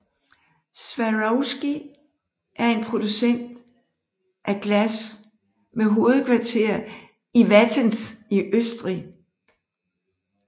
Swarovski er en producent af glas med hovedkvarter i Wattens i Østrig